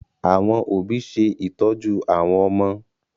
Àwọn òbí ṣe ìtọ́jú àwọn ọmọ